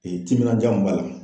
timinanja mun b'a la